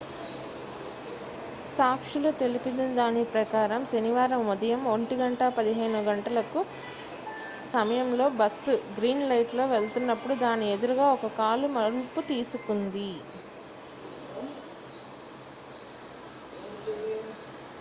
సాక్షులు తెలిపిన దాని ప్రకారం శనివారం ఉదయం 1:15 గంటల సమయంలో బస్సు గ్రీన్ లైట్లో వెళ్తునప్పుడు దాని ఎదురుగా ఒక కారు మలుపు తీసుకుంది